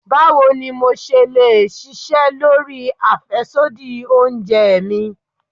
Báwo ni mo le ṣe ṣisẹ́ lórí àfẹ́sódì oúnjẹ mi?